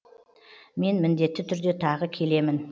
мен міндетті түрде тағы келемін